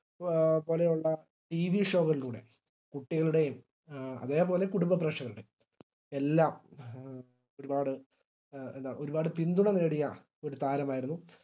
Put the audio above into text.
A പോലെയുള്ള TV show കളിലൂടെയും കുട്ടികളുടെയും അതെ പോലെ കുടുംബ പ്രേക്ഷകരുടെയും എല്ലാം ഒരുപാട് എ എന്താ ഒരുപാട് പിന്തുണ നേടിയ ഒരു താരമായിരുന്നു